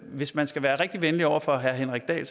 hvis man skal være rigtig venlig over for herre henrik dahl